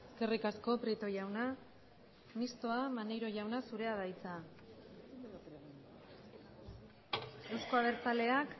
eskerrik asko prieto jauna mistoa maneiro jauna zurea da hitza euzko abertzaleak